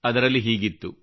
ಅದರಲ್ಲಿ ಹೀಗಿತ್ತು